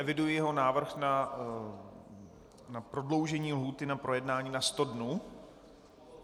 Eviduji jeho návrh na prodloužení lhůty na projednání - na sto dnů?